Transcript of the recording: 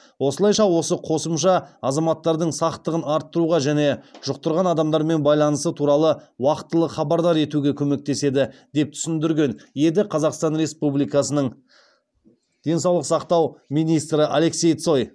осылайша осы қосымша азаматтардың сақтығын арттыруға және жұқтырған адамдармен байланысы туралы уақытылы хабардар етуге көмектеседі деп түсіндірген еді қазақстан республикасының денсаулық сақтау министрі алексей цой